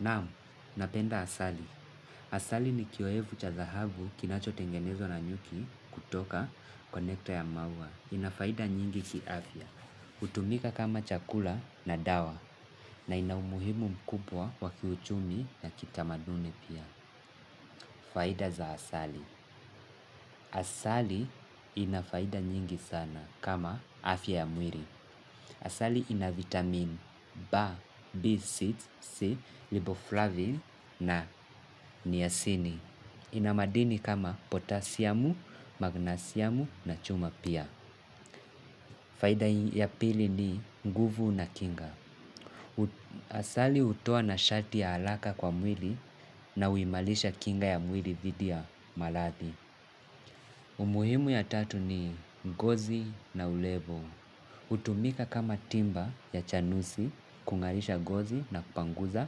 Naam, napenda asali. Asali ni kiyoyevu cha dhahabu kinachotengenezwa na nyuki kutoka kwa nectar ya maua. Ina faida nyingi kiafya. Hutumika kama chakula na dawa na ina umuhimu mkubwa wa kiuchumi na kitamaduni pia. Faida za asali. Asali ina faida nyingi sana kama afya ya mwili. Asali ina vitamin B, B, C, C, Liboflavin na niasini. Inamadini kama potasiamu, magnasiamu na chuma pia. Faida ya pili ni nguvu na kinga. Asali hutoa nashati ya haraka kwa mwili na huimarisha kinga ya mwili dhidi ya maradhi. Umuhimu ya tatu ni ngozi na urefu. Hutumika kama timba ya chanusi, kung'arisha gozi na kupanguza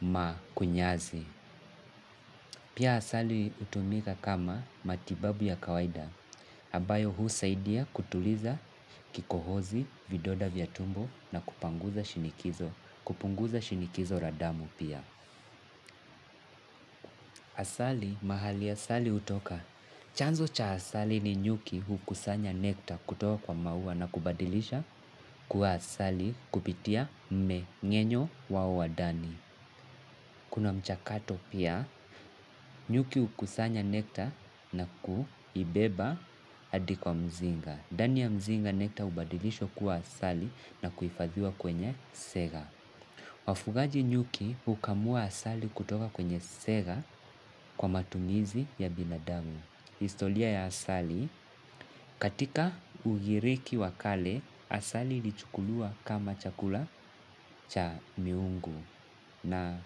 makunyazi. Pia asali hutumika kama matibabu ya kawaida. Ambayo husaidia kutuliza kikohozi, vidonda vya tumbo na kupunguza shinikizo. Kupunguza shinikizo la damu pia. Asali, mahali asali utoka. Chanzo cha asali ni nyuki hukusanya nekta kutoka kwa maua na kubadilisha kuwa asali kupitia mmeng'enyo wao wa ndani. Kuna mchakato pia nyuki hukusanya nekta na kuibeba hadi kwa mzinga. Ndani ya mzinga nekta hubadilishwa kuwa asali na kuhifadhiwa kwenye sega. Wafugaji nyuki hukamua asali kutoka kwenye sega kwa matumizi ya binadamu. Historia ya asali, katika ugiriki wa kale, asali ilichukuliwa kama chakula cha miungu na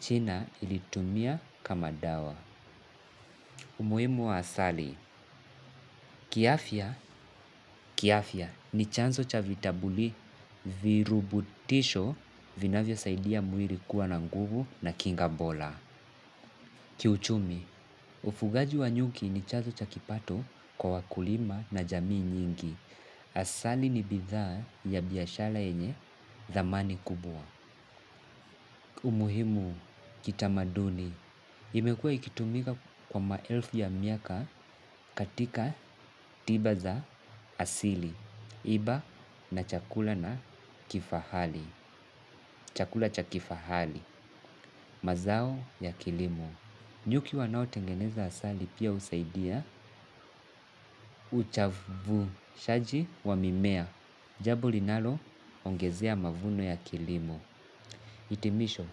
china iliitumia kama dawa. Umuhimu wa asali, kiafya, kiafya, ni chanzo cha virutubisho vinavyosaidia mwili kuwa na nguvu na kinga bora. Kiuchumi, ufugaji wa nyuki ni chazo cha kipato kwa wakulima na jamii nyingi. Asali ni bidhaa ya biashara yenye thamani kubwa. Umuhimu, kitamaduni, imekuwa ikitumika kwa maelfu ya miaka katika tiba za asili. Iba na chakula na kifahali. Chakula cha kifahali. Mazao ya kilimo nyuki wanaotengeneza asali pia husaidia uchavushaji wa mimea jambo linaloongezea mavuno ya kilimo hitimisho.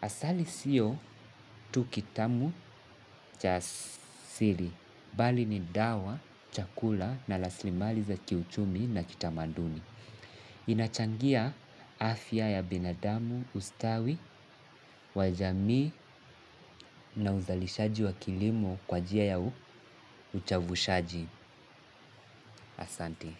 Asali sio tu kitamu cha asili bali ni dawa, chakula na rasilimali za kiuchumi na kitamanduni. Inachangia afya ya binadamu, ustawi wa jamii na uzalishaji wa kilimo kwa njia ya uchavushaji, asanti.